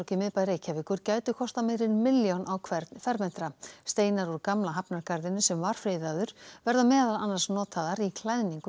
í miðbæ Reykjavíkur gætu kostað meira en milljón á hvern fermetra steinar úr gamla hafnargarðinum sem var friðaður verða meðal annars notaðir í klæðningu